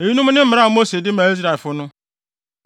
Eyinom ne mmara a Mose de maa Israelfo no.